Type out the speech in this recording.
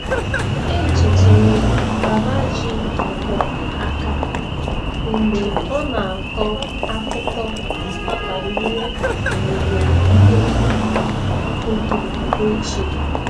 Echetara m Baba ji ngwọ aka mgbe ọ na-akọ akụkọ banyere owuwe ihe ubi koko ochie.